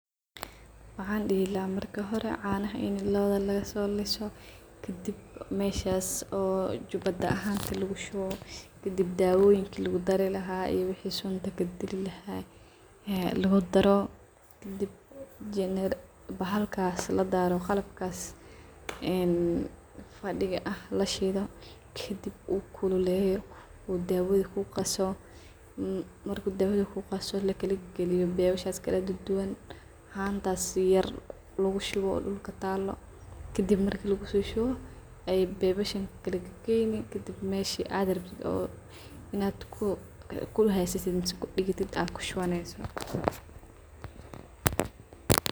Waxan dihii laha marki hore canaha inaa loowdo lakaso liiso kadib meshaas oo jubuta ahanta lugushuwo kadib dawooyinka lakudari laha iyo wixi sunta lakudiliha lakudaro kadib bahalkas qalbakas laadaro een fadiga aah lashidha kadib uu kululeyo dawadha kugaso, marka dawadha kugaso lakalagailiyo pipe yasha kaladuwan hantas yaar lugushowo dulka taalo kadib marka lagusoshuwo aay pipe yashakalagaqeyni kadib meshi aad rabto inaad kuhaysatit mise kudigatitaad kushuwanyso.